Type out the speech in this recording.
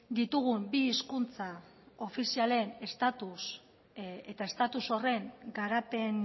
ditugun bi hizkuntza ofizialen estatus eta estatus horren garapen